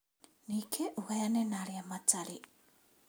Ningĩ ũgayane na arĩa matarĩ